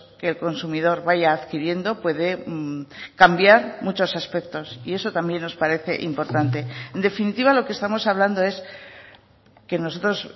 que el consumidor vaya adquiriendo puede cambiar muchos aspectos y eso también nos parece importante en definitiva lo que estamos hablando es que nosotros